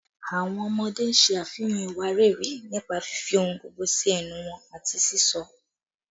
Awọn ọmọde ṣe afihan iwariiri nipa fifi ohun gbogbo si ẹnu wọn ati sisọ